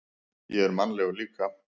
Ég er mannlegur líka.